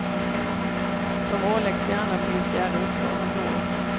De åläggs gärna polisiära uppdrag ombord.